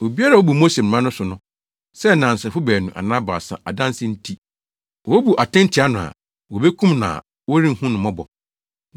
Obiara a obu Mose Mmara no so no, sɛ nnansefo baanu anaa baasa adansedi nti, wobu atɛn tia no a, wobekum no a wɔrenhu no mmɔbɔ.